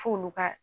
F'olu ka